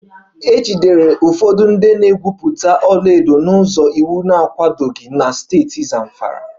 E jidere ụfọdụ ndị na-egwupụta ọlaedo n'ụzọ iwu na-akwadoghị na steeti Zamfara